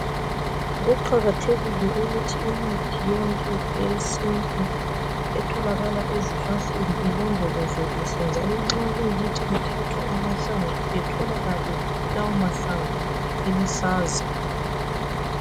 Kuqakathekile ukuthi imithi yonke yesintu etholakala ezinhlanhleni ilodolozwe kuhle njalo nxa kuyikutho kuthathwa amahlamvu atholakale lawo mahlamvu eluhlaza.